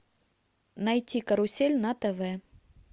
найти карусель на тв